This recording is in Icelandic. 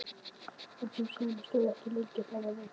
En sú sæla stóð ekki lengi: Það varð reimt.